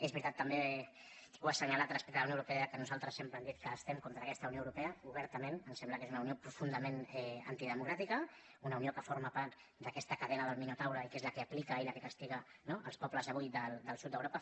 és veritat també ho he assenyalat respecte de la unió europea ja que nosaltres sempre hem dit que estem contra aquesta unió europea obertament ens sembla que és una unió profundament antidemocràtica una unió que forma part d’aquesta cadena del minotaure i que és la que aplica i la que castiga no els pobles avui del sud d’europa